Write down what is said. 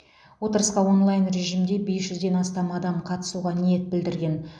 отырысқа онлайн режимде бес жүзден астам адам қатысуға ниет білдірген